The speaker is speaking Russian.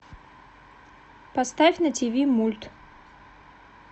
поставь на тв мульт